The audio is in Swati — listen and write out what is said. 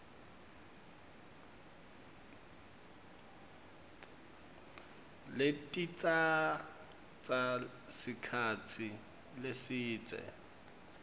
letitsatsa sikhatsi lesidze